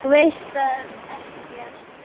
Þú veist ekki allt.